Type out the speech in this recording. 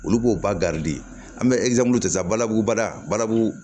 Olu b'o ba an bɛ ta balabu bala bala